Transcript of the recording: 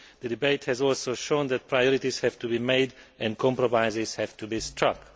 The debate has also shown that priorities have to be made and compromises have to be struck.